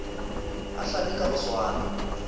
a hlabe ka go swana